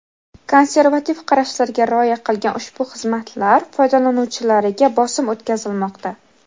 konservativ qarashlarga rioya qilgan ushbu xizmatlar foydalanuvchilariga bosim o‘tkazilmoqda.